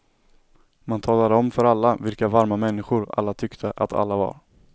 Man talade om för alla vilka varma människor alla tyckte att alla var.